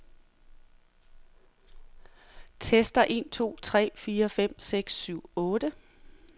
Tester en to tre fire fem seks syv otte.